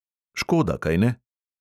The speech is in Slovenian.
Škoda, kajne?